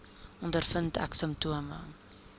ondervind ek simptome